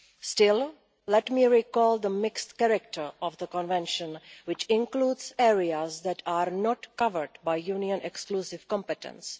Still, let me recall the mixed character of the Convention, which includes areas that are not covered by Union exclusive competence.